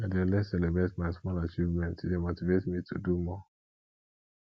i dey always celebrate my small achievements e dey motivate me to do more